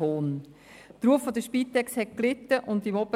Der Ruf der Spitex hat gelitten, nicht nur